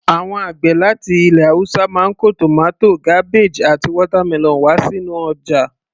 Àwọn àgbẹ̀ láti ilẹ̀ haúsá máa ń kó tomato, cabbage àti watermelon wá sínú ọjà